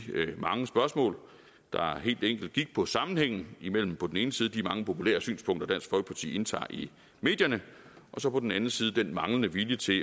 mange spørgsmål der helt enkelt gik på sammenhængen mellem på den ene side de mange populære synspunkter dansk folkeparti indtager i medierne og så på den anden side den manglende vilje til